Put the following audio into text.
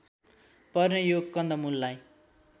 पर्ने यो कन्दमुललाई